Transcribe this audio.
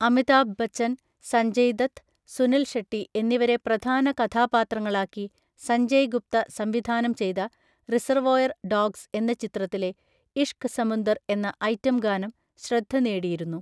അമിതാഭ് ബച്ചൻ, സഞ്ജയ് ദത്ത്, സുനിൽ ഷെട്ടി എന്നിവരെ പ്രധാന കഥാപാത്രങ്ങളാക്കി സഞ്ജയ് ഗുപ്ത സംവിധാനം ചെയ്ത 'റിസർവോയർ ഡോഗ്സ്' എന്ന ചിത്രത്തിലെ 'ഇഷ്ക് സമുന്ദർ' എന്ന ഐറ്റം ഗാനം ശ്രദ്ധ നേടിയിരുന്നു.